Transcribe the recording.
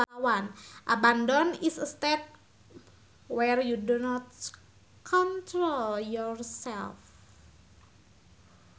Abandon is a state where you do not control yourself